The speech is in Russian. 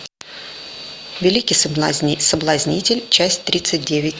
великий соблазнитель часть тридцать девять